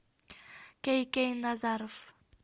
кей кей назаров